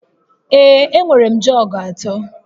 Ee, enwere m jọg atọ